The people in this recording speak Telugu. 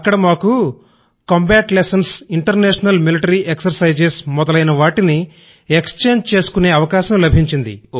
అక్కడ మాకు combat lessons international military exercises మొదలైనవాటిని ఎక్స్చేంజ్ చేసుకునే అవకాశం లభించింది